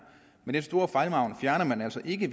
men den store fejlmargen fjerner man altså ikke